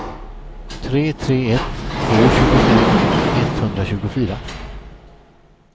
tre tre ett två tjugofem etthundratjugofyra